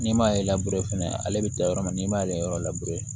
N'i m'ale fana ale bɛ taa yɔrɔ min n'i m'ale yɔrɔ